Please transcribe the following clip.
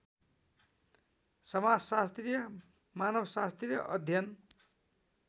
समाजशास्त्रीय मानवशास्त्रीय अध्ययन